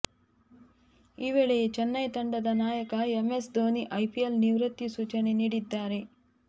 ಈ ವೇಳೆಯೇ ಚೆನ್ನೈ ತಂಡದ ನಾಯಕ ಎಂಎಸ್ ಧೋನಿ ಐಪಿಎಲ್ ನಿವೃತ್ತಿ ಸೂಚನೆ ನೀಡಿದ್ದಾರೆ